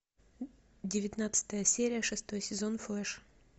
девятнадцатая серия шестой сезон флэш